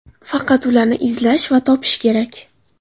Faqat ularni izlash va topish kerak.